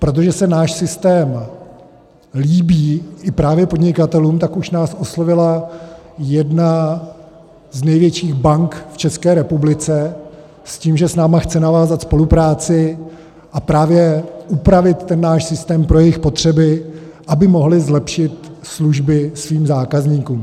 Protože se náš systém líbí právě i podnikatelům, tak už nás oslovila jedna z největších bank v České republice s tím, že s námi chce navázat spolupráci a právě upravit ten náš systém pro jejich potřeby, aby mohli zlepšit služby svým zákazníkům.